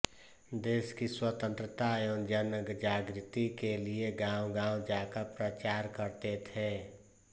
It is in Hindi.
देश की स्वतंत्रता एवं जनजागृति के लिए गाँवगाँव जाकर प्रचार करते थे